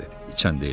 İçən deyiləm.